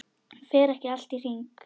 Fer ekki allt í hringi?